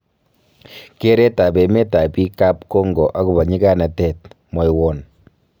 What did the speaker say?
Kereet ab emet ab biik ab Congo agobo nyiganatet kwoinon?